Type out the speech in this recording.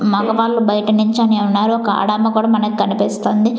మగవాళ్ళు బయట నించొని ఉన్నారు ఒక ఆడామె కూడా మనకనిపిస్తుంది.